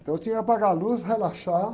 Então eu tinha que apagar a luz, relaxar.